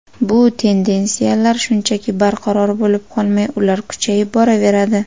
Bu tendensiyalar shunchaki barqaror bo‘lib qolmay, ular kuchayib boraveradi.